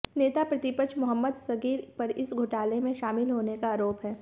नेता प्रतिपक्ष मोहम्मद सगीर पर इस घोटाले में शामिल होने का आरोप है